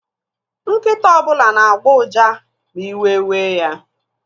Nkịta ọbụla na-agbọ uja ma iwe wee ya.